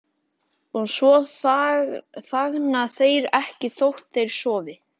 Og svo þagna þeir ekki þótt þeir sofi.